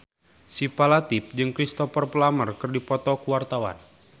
Syifa Latief jeung Cristhoper Plumer keur dipoto ku wartawan